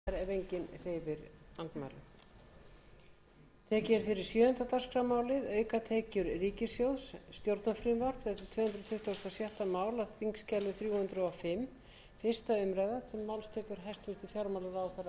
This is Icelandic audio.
frú forseti ég mæli fyrir frumvarpi til laga um breyting á lögum um aukatekjur ríkissjóðs með frumvarpi þessu er í fyrsta lagi lagt til að ákvæðum laganna um þinglýsingargjald verði breytt á þann hátt að